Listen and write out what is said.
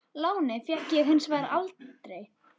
Lánið fékk ég hins vegar aldrei.